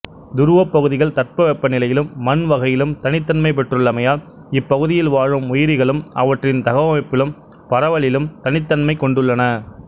துருவப் பகுதிகள் தட்பவெப்பநிலையிலும் மண் வகையிலும் தனித்தன்மை பெற்றுள்ளமையால் இப்பகுதியில் வாழும் உயிரிகளும் அவற்றின் தகவமைப்பிலும் பரவலிலும் தனித்தன்மை கொண்டுள்ளன